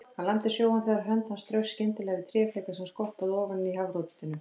Hann lamdi sjóinn þegar hönd hans straukst skyndilega við tréfleka sem skoppaði ofan á hafrótinu.